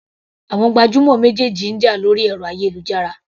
Àwọn gbajúmọ̀ méjèèjì ń jà lórí ẹ̀rọ ayélujára.